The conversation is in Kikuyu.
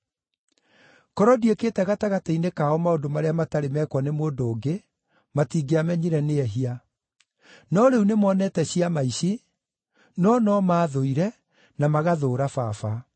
Korwo ndiĩkĩte gatagatĩ-inĩ kao maũndũ marĩa matarĩ mekwo nĩ mũndũ ũngĩ matingĩamenyire nĩ ehia. No rĩu nĩmonete ciama ici, no no maathũire na magathũũra Baba.